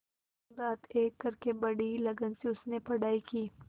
दिनरात एक करके बड़ी ही लगन से उसने पढ़ाई की